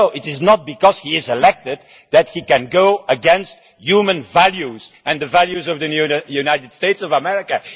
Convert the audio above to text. No, it is not because he is elected that he can go against human values and the values of the United States of America.